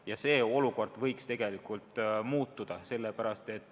Ja see olukord võiks tegelikult muutuda.